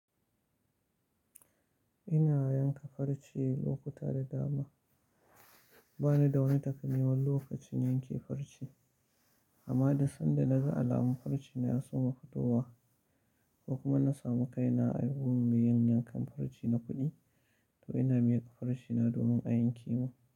Ina yanka farce lokuta da dama. Ba ni da wani takamaiman lokacin yanke farce, amma duk sanda na ga alamun farcena ya soma fitowa ko kuma na samu kaina a gun mai yin yankan farce na kuɗi, to ina miƙa farce na domin a yanke mu.